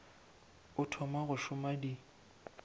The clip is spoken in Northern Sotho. o thoma go šoma di